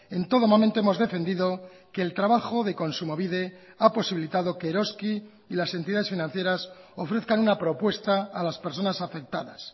en todo momento hemos defendido que el trabajo de kontsumobide ha posibilitado que eroski y las entidades financieras ofrezcan una propuesta a las personas afectadas